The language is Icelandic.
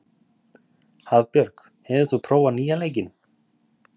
Hafbjörg, hefur þú prófað nýja leikinn?